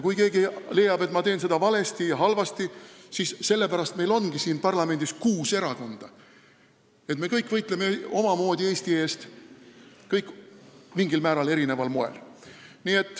Kui keegi leiab, et ma teen seda valesti ja halvasti, siis ma ütlen, et sellepärast ongi siin parlamendis kuus erakonda ja me kõik võitleme omamoodi Eesti eest, igaüks mingil määral erineval moel.